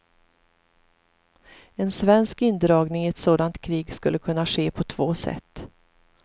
En svensk indragning i ett sådant krig skulle kunna ske på två sätt.